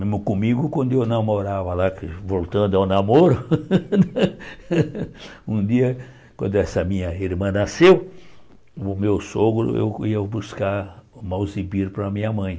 Mesmo comigo, quando eu namorava lá, voltando ao namoro, um dia, quando essa minha irmã nasceu, o meu sogro, eu ia buscar para a minha mãe.